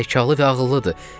Hətta zəkalı və ağıllıdır.